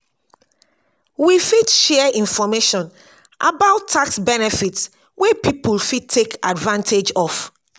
we fit share information about tax benefits wey people fit take advantage of.